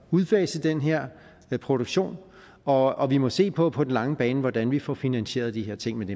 udfase den her produktion og og vi må se på på den lange bane hvordan vi får finansieret de her ting men